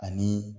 Ani